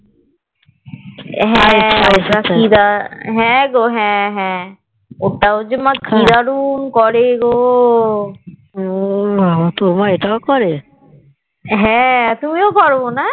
হ্যাঁ হ্যাঁ হ্যাঁ গো হ্যাঁ হ্যাঁ ওটাও যে মা কি দারুন করে গো হ্যাঁ তুমিও করো না?